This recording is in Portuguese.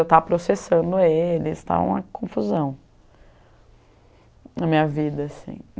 Eu estava processando eles, estava uma confusão na minha vida, assim.